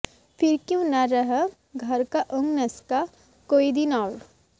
ফির কিউ না রহা ঘর কা ওহ্ নকশা কোই দিন অওর